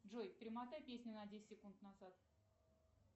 джой перемотай песню на десять секунд назад